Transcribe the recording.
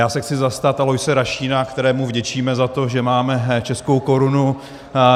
Já se chci zastat Aloise Rašína, kterému vděčíme za to, že máme českou korunu.